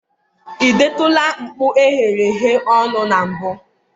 ị detụla mkpụ eghereghe ọnụ na mbụ?